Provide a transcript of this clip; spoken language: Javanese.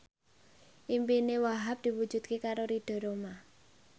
impine Wahhab diwujudke karo Ridho Roma